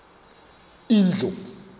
indlovu